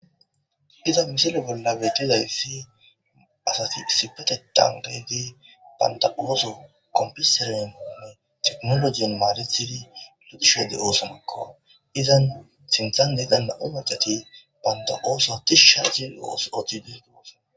Ha misile bollabe tiza yssi asati sipete tandedi banda7ooso kompisere onne tiqnologien maaretidi lutushade oosomakko izan sintha neganna omarqati banda ooso tish shagi ooso oti disgo gaso